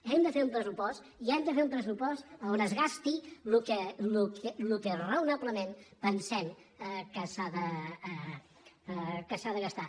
hem de fer un pressupost i hem de fer un pressupost on es gasti el que raonablement pensem que s’ha de gastar